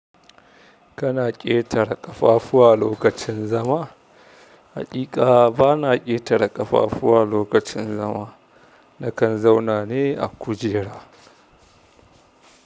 Kana ƙetare ƙafafuwa lokacin zama? Haƙiƙa bana ƙetare ƙafafuwa lokacin zama. Nakan zauna ne a kujera.